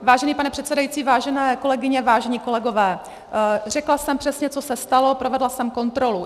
Vážený pane předsedající, vážené kolegyně, vážení kolegové, řekla jsem přesně, co se stalo, provedla jsem kontrolu.